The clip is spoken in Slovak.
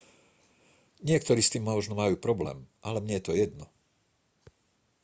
niektorí s tým možno majú problém ale mne je to jedno